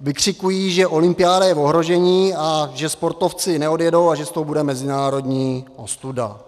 vykřikují, že olympiáda je v ohrožení a že sportovci neodjedou a že z toho bude mezinárodní ostuda.